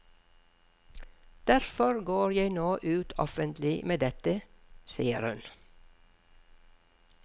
Derfor går jeg nå ut offentlig med dette, sier hun.